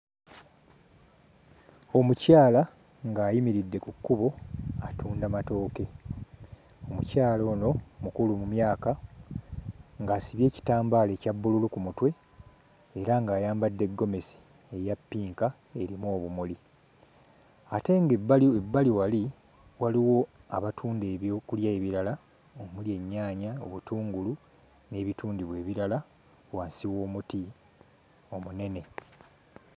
Omukyala ng'ayimiridde ku kkubo atunda matooke, omukyala ono mukulu mu myaka ng'asibye ekitambaala ekya bbululu ku mutwe era ng'ayambadde ggomesi eya ppinka erimu obumuli, ate ng'ebbali ebbali wali waliwo abatunda ebyokulya ebirala omuli ennyaanya, obutungulu n'ebitundibwa ebirala wansi w'omuti omunene.